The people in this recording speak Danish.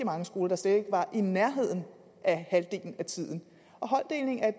mange skoler der slet ikke var i nærheden af halvdelen af tiden og holddeling er